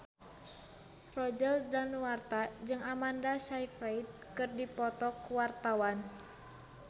Roger Danuarta jeung Amanda Sayfried keur dipoto ku wartawan